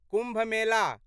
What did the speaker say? Kumbh Mela